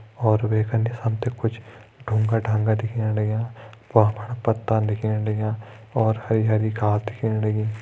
और वेका निस हमते कुछ ढूँगा ढाँगा दिखेणलगयां भ्वां फण पत्ता दिखेण लगयां और हरी हरी घास दिखेण लगीं ।